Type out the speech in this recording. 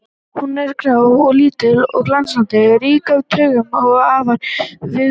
Hún er grá að lit og glansandi, rík af taugum og afar viðkvæm.